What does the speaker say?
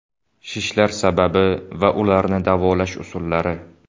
Shishlar sababi va ularni davolash usullari.